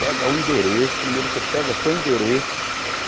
Pega o endereço, primeiro você pega seu endereço.